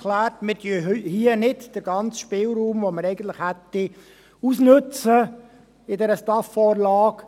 Wir nutzen hier nicht den ganzen Spielraum, den wir gemäss STAF-Vorlage eigentlich hätten.